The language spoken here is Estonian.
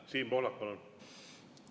Siim Pohlak, palun!